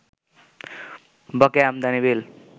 বকেয়া আমদানি বিল